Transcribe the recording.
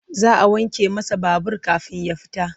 Za a wanke masa babur kafin ya fita.